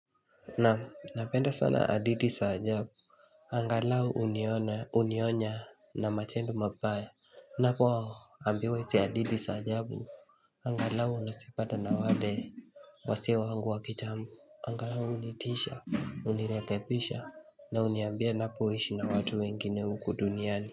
Naam napenda sana hadithi za ajabu Angalau hunionya na matendo mabaya Ninapoambiwa hadithi za ajabu Angalau nazipata na wale Wazee wangu wa kitambo Angalau hunitisha hunirekebisha na huniambia ninapoishi na watu wengine huku duniani.